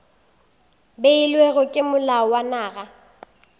beilwego ke molao wa naga